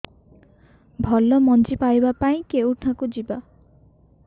ଭଲ ମଞ୍ଜି ପାଇବା ପାଇଁ କେଉଁଠାକୁ ଯିବା